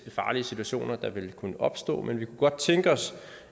farlige situationer der vil kunne opstå men vi kunne godt tænke os